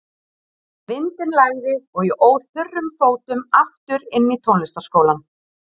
Vindinn lægði og ég óð þurrum fótum aftur inn í tónlistarskólann.